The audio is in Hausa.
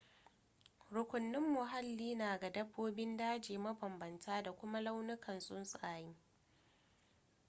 rukunin muhalli na ga dabbobin daji mabambanta da kuma launukan tsuntsaye